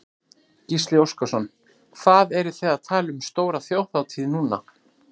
Gísli Óskarsson: Hvað eruð þið að tala um stóra þjóðhátíð núna?